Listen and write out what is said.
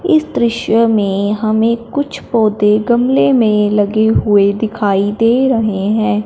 इस दृश्य में हमें कुछ पौधे गमले में लगे हुए दिखाई दे रहे हैं।